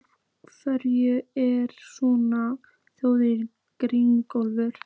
Af hverju ertu svona þrjóskur, Grímólfur?